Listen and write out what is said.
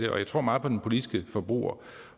jeg tror meget på den politiske forbruger